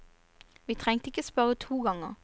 Vi trengte ikke spørre to ganger.